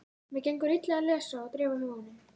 Mér gengur illa að lesa og dreifa huganum.